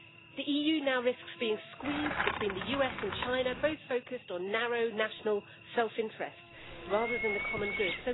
The EU now risks being squeezed between the US and China, both focused on narrow, national self-interest rather than the common good.